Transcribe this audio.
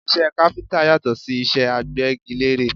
Iṣẹ́ káfíńtà yàtọ̀ sí iṣẹ́ agbẹ́gilére